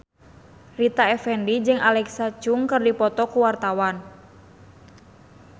Rita Effendy jeung Alexa Chung keur dipoto ku wartawan